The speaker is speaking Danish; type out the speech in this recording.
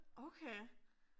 Okay